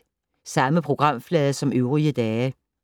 Samme programflade som øvrige dage